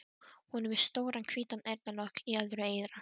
Hún er með stóran hvítan eyrnalokk í öðru eyra.